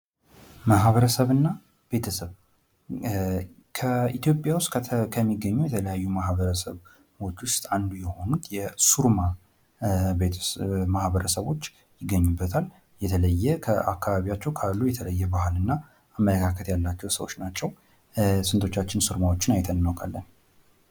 ማህበረሰብ እና ቤተሰብ ከኢትዮጵያ ዉስጥ ከሚገኙ ከተለያዩ ማህበረሰቦች ዉስጥ አንዱ የሆኑት የሱሩማ ማህበረሰቦች ይገኙበታል። የለየ ከአካባቢያቸዉ ካለ የተለየ አመለካከት ያላቸዉ ሰዎች ናቸዉ። ስንቶቻችን ሱርማዎችን አይተን እናዉቃለን?